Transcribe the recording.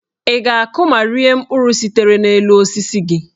Ị ga-akụ ma rie mkpụrụ sitere n'osisi gị.